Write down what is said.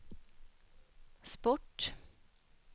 sport